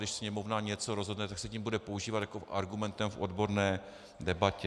Když Sněmovna něco rozhodne, tak se to bude používat jako argument v odborné debatě.